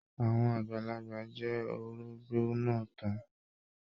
Àwọn àgbàlagbà jẹ orógbó náà tán.